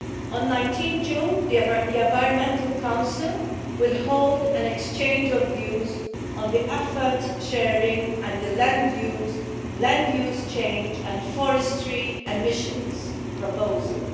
On 19 June the Environmental Council will hold an exchange of views on the effort sharing and the land use change and forestry emissions proposals.